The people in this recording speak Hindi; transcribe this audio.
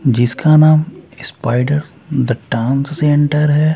जिसका नाम स्पाइडर द टांस से एंटर हैं ।